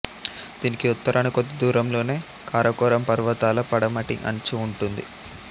దీనికి ఉత్తరాన కొద్ది దూరం లోనే కారకోరం పర్వతాల పడమటి అంచు ఉంటుంది